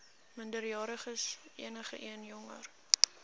minderjariges enigeen jonger